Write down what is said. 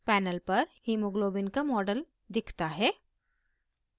panel पर hemoglobin का model दिखता है